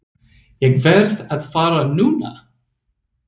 Ég verð að fara núna!